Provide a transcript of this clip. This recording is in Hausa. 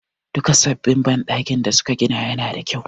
Duka sabbin banɗakin da su ka gina ya na da kyau